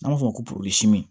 An b'a fɔ ko